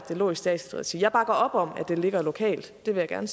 de lå i statsligt regi jeg bakker op om at de ligger lokalt det vil jeg